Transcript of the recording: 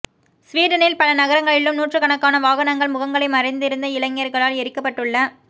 சுவீடனில் பல நகரங்களிலும் நூற்றுக்கணக்கான வாகனங்கள் முகங்களை மறைத்திருந்த இளைஞர்களால் எரிக்கப்பட்டுள